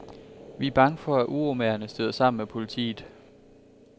Vi er bange for, at uromagerne støder sammen med politiet.